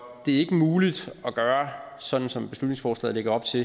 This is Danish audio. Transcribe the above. det er ikke muligt at gøre sådan som beslutningsforslaget lægger op til